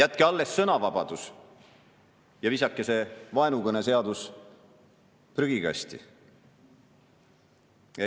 Jätke alles sõnavabadus ja visake see vaenukõneseadus prügikasti!